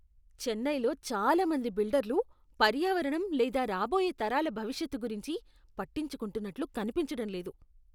చెన్నైలో చాలామంది బిల్డర్లు పర్యావరణం లేదా రాబోయే తరాల భవిష్యత్తు గురించి పట్టించుకుంటున్నట్లు కనిపించడం లేదు.